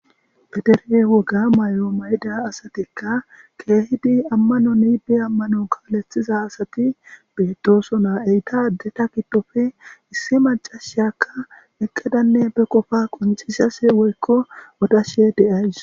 Pederge woga may'o mayda asatikka keehidi ammanon ibe ammanon kaleththiza asati beetooso naa eytaadeta giddofe issi macashakka eqqedanne be qofa quncisase woykko odashe deays.